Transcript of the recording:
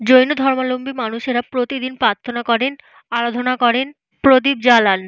জৈন ধর্মাবলম্বী মানুষেরা প্রতিদিন প্রার্থনা করেন আরাধনা করেন প্রদীপ জালান।